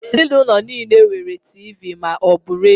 Ezinụlọ nile nwere Tiivii ma ọ bu redio.